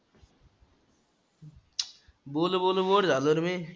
बोलून बोलून bore झालो रं मी.